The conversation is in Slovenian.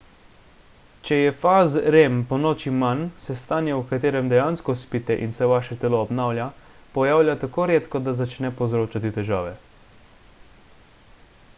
če je faz rem ponoči manj se stanje v katerem dejansko spite in se vaše telo obnavlja pojavlja tako redko da začne povzročati težave